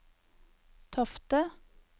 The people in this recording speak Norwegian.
Tofte